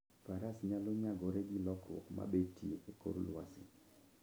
Faras nyalo nyagore gi lokruok mabetie e kor lwasi.